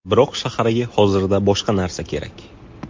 Biroq shaharga hozirda boshqa narsa kerak.